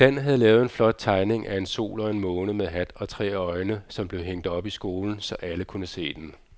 Dan havde lavet en flot tegning af en sol og en måne med hat og tre øjne, som blev hængt op i skolen, så alle kunne se den.